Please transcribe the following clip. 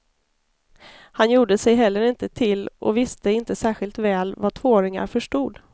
Han gjorde sig heller inte till och visste inte särskilt väl vad tvååringar förstod.